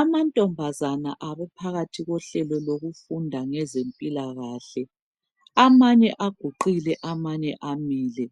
Amantombazana abephakathi kohlelo lokufunda ngezempilakahle. Amanye aguqile amanye amile.